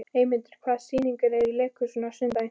Eymundur, hvaða sýningar eru í leikhúsinu á sunnudaginn?